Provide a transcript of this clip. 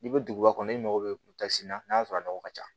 N'i bɛ duguba kɔnɔ i mago bɛ na n'a sɔrɔ a nɔgɔ ka ca